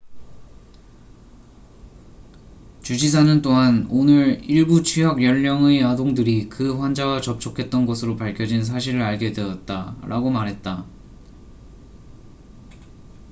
"주지사는 또한 "오늘 일부 취학 연령의 아동들이 그 환자와 접촉했던 것으로 밝혀진 사실을 알게 되었다""라고 말했다.